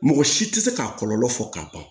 Mɔgɔ si tɛ se k'a kɔlɔlɔ fɔ ka ban